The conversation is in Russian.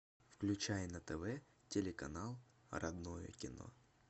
включай на тв телеканал родное кино